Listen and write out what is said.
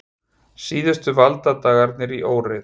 Síðustu valdadagarnir í óreiðu